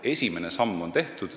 Esimene samm on tehtud.